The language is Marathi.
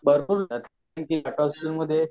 भरपूर